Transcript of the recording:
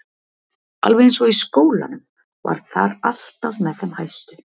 Alveg eins og í skólanum, var þar alltaf með þeim hæstu.